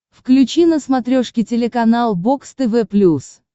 включи на смотрешке телеканал бокс тв плюс